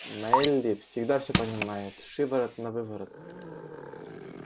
мелли всегда всё понимает шиворот-навыворот